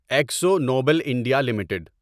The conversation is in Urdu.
Akzo Nobel India limited